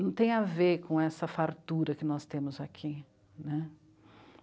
não tem a ver com essa fartura que nós temos aqui né.